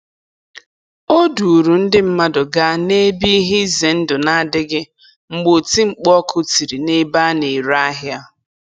O duuru ndị mmadụ gaa n'ebe ihe ize ndụ na-adịghị mgbe oti mkpu ọkụ tiri n'ebe a na-ere ahịa.